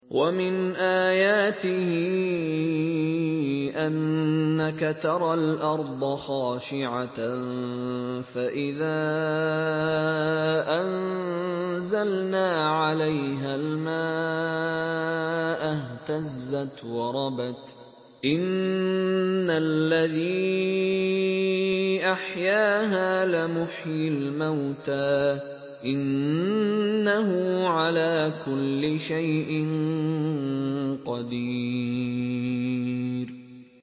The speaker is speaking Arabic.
وَمِنْ آيَاتِهِ أَنَّكَ تَرَى الْأَرْضَ خَاشِعَةً فَإِذَا أَنزَلْنَا عَلَيْهَا الْمَاءَ اهْتَزَّتْ وَرَبَتْ ۚ إِنَّ الَّذِي أَحْيَاهَا لَمُحْيِي الْمَوْتَىٰ ۚ إِنَّهُ عَلَىٰ كُلِّ شَيْءٍ قَدِيرٌ